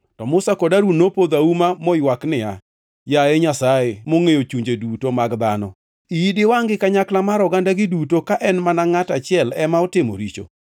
To Musa kod Harun nopodho auma moywak niya, “Yaye Nyasaye, mongʼeyo chunje duto mag dhano, iyi diwangʼ gi kanyakla mar ogandagi duto ka en mana ngʼato achiel ema otimo richo?”